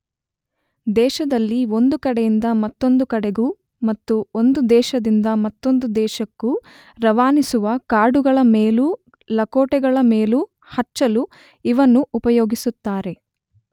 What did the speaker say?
ದೇಶದಲ್ಲಿ ಒಂದು ಕಡೆಯಿಂದ ಮತ್ತೊಂದು ಕಡೆಗೂ ಮತ್ತು ಒಂದು ದೇಶದಿಂದ ಮತ್ತೊಂದು ದೇಶಕ್ಕೂ ರವಾನಿಸುವ ಕಾರ್ಡುಗಳ ಮೇಲೂ ಲಕೋಟೆಗಳ ಮೇಲೂ ಹಚ್ಚಲು ಇವನ್ನು ಉಪಯೋಗಿಸುತ್ತಾರೆ.